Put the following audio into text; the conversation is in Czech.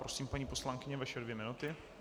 Prosím, paní poslankyně, vaše dvě minuty.